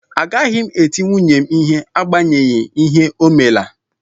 Agaghị m eti nwunye m ihe n'agbanyeghị ihe o mela